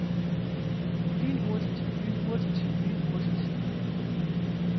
lynhurtigt lynhurtigt lynhurtigt